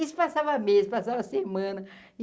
Isso passava mês, passava semana.